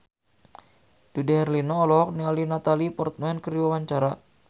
Dude Herlino olohok ningali Natalie Portman keur diwawancara